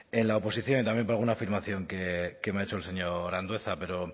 en la oposición y también por alguna afirmación que me ha hecho el señor andueza pero